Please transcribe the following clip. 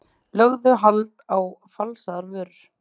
Lögðu hald á falsaðar vörur